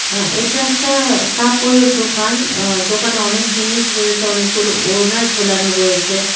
হ্যাঁ এটা একটা কাপড়ের দোকান আঃ দোকানে অনেক জিনিস রয়েছে অনেকগুলো ওড়না ঝোলানো রয়েছে .]